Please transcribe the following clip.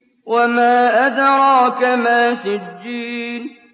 وَمَا أَدْرَاكَ مَا سِجِّينٌ